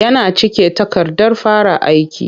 Yana cike takardar fara aiki.